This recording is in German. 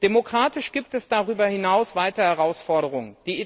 Demokratisch gibt es darüber hinaus weitere Herausforderungen.